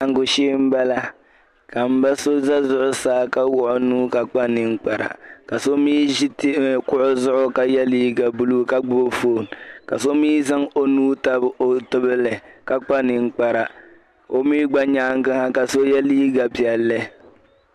Laɣingu shee m-bala ka mba so za zuɣusaa ka wuɣi o nuu ka kpa ninkpara ka so mii zi kuɣa zuɣu ka yɛ liiga buluu ka gbubi "phone" ka so mii zaŋ o nuu tabi o tibili ka kpa ninkpara o mii gba nyaaŋa ha ka so yɛ liiga piɛlli